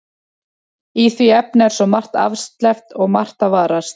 Í því efni er svo margt afsleppt og margt að varast.